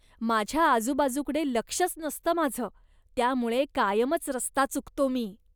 माझ्या आजुबाजूकडे लक्षच नसतं माझं त्यामुळे कायमच रस्ता चुकतो मी.